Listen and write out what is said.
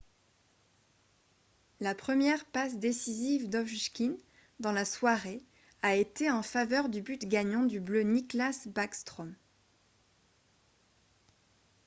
la première passe décisive d’ovechkin dans la soirée a été en faveur du but gagnant du bleu nicklas backstrom ;